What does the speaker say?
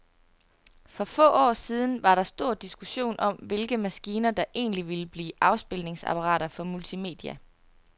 For få år siden var der stor diskussion om, hvilke maskiner, der egentlig ville blive afspilningsapparater for multimedia.